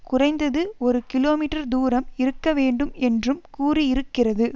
குறைந்தது ஒரு கிலோமீட்டர் தூரம் இருக்கவேண்டும் என்றும் கூறியிருக்கிறது